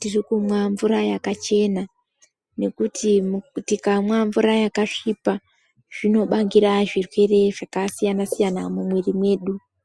tirikumwa mvura yakachena, ngekuti tikamwa mvura yakasvipa zvinobangira zvirwere zvakasiyana-siyana mumwiri mwedu.